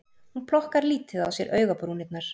Hún plokkar lítið á sér augabrúnirnar